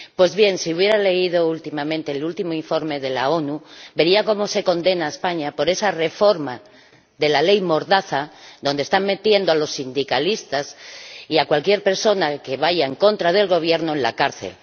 Pues bien, si hubiera leído el último informe de la ONU, vería cómo se condena a España por esa reforma de la Ley Mordaza, con la cual están metiendo a los sindicalistas y a cualquier persona que vaya en contra del Gobierno en la cárcel...